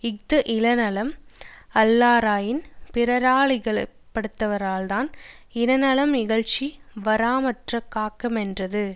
இஃது இனநலம் அல்லாராயின் பிறரா லிகழப்படுவராதலான் இனநலம் இகழ்ச்சி வாராமற் காக்குமென்றது